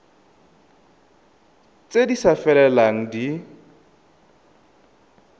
tse di sa felelang di